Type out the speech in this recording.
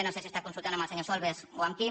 no sé si està consultant amb el senyor solbes o amb qui